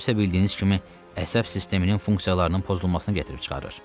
Bu isə bildiyiniz kimi əsəb sisteminin funksiyalarının pozulmasına gətirib çıxarır.